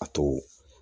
A to